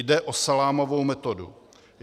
Jde o salámovou metodu.